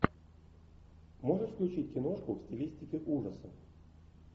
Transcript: можешь включить киношку в стилистике ужасов